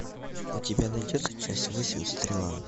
у тебя найдется часть восемь стрела